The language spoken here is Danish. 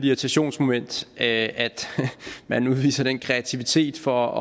irritationsmoment at man udviser den kreativitet for